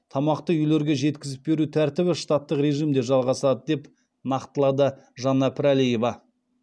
тамақты үйлерге жеткізіп беру тәртібі шататтық режимде жалғасады деп нақтылады жанна пірәлиева